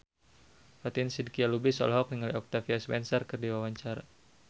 Fatin Shidqia Lubis olohok ningali Octavia Spencer keur diwawancara